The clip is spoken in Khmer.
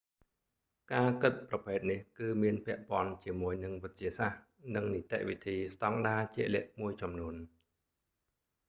ការគិតប្រភេទនេះ គឺមានពាក់ព័ន្ធជាមួយនឹងវិទ្យាសាស្ត្រ និងនីតិវិធីស្ដង់ដាជាក់លាក់មួយចំនួន